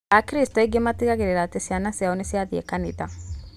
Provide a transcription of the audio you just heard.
Akristo aingĩ matigagĩrĩra atĩ ciana ciao nĩciathiĩ kanitha